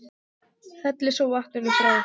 Hellið svo vatninu frá.